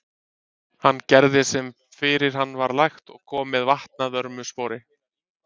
Hann gerði sem fyrir hann var lagt og kom með vatn að vörmu spori.